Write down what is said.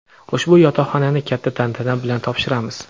ushbu yotoqxonani katta tantana bilan topshiramiz.